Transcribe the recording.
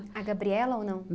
A Gabriela ou não?